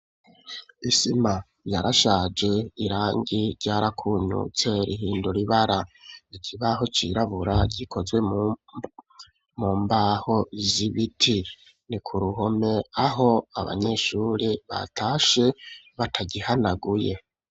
Isima yarashaje, irangi ryarakunyutse, rihindura ibara; ikibaho cirabura, gikozwe mu mbaho, z'ibiti; ni ku ruhome, aho abanyeshure batashe, batagihanaguye.